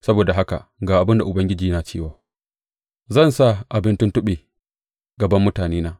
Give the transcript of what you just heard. Saboda haka ga abin da Ubangiji yana cewa, Zan sa abin tuntuɓe gaban mutanena.